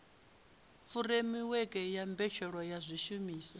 furemiweke ya mbetshelwa ya zwishumiswa